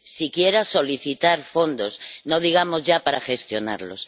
siquiera solicitar fondos, no digamos ya para gestionarlos.